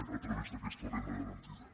a través d’aquesta renda garantida